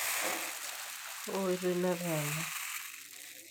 kaa oitoi nataana?